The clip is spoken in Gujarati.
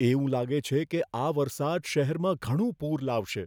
એવું લાગે છે કે આ વરસાદ શહેરમાં ઘણું પૂર લાવશે